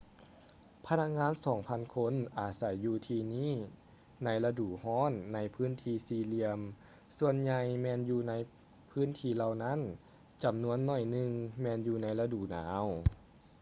ພະນັກງານສອງພັນຄົນອາໄສຢູ່ທີ່ນີ້ໃນລະດູຮ້ອນໃນພື້ນທີ່ສີ່ຫຼຽມສ່ວນໃຫຍ່ແມ່ນຢູ່ໃນພື້ນທີ່ເຫຼົ່ານັ້ນ ຈຳນວນໜ້ອຍໜຶ່ງແມ່ນຢູ່ໃນລະດູໜາວ